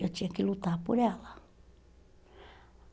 Eu tinha que lutar por ela.